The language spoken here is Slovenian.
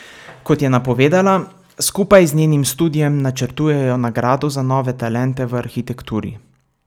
Kot je napovedala, skupaj z njenim studiem načrtujejo nagrado za nove talente v arhitekturi.